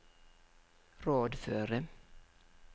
rådføre